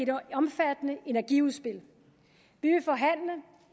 omfattende energiudspil